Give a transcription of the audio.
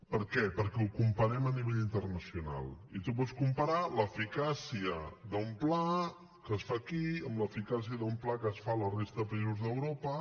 per què perquè ho comparem a nivell internacional i tu pots comparar l’eficàcia d’un pla que es fa aquí amb l’eficàcia d’un pla que es fa a la resta de països d’europa